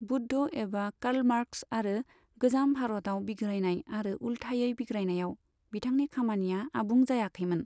बुद्ध एबा कार्लमार्क्स आरो गोजाम भारतआव बिग्रायनाय आरो उलथायै बिग्रायनायाव बिथांनि खामानिया आबुं जायाखैमोन।